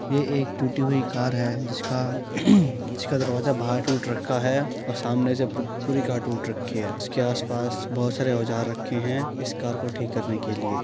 ये एक टूटी हुई कार है जिसका जिसका दरवाजा बाहर टूट रखा है और सामने से प् पूरी कार टूट रखी है। उसके आसपास बोहोत सारे औजार रखे हैं इस कार को ठीक करने के लिए।